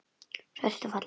Svört og falleg.